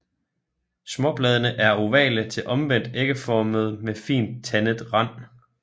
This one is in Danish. Småbladene er ovale til omvendt ægformede med fint tandet rand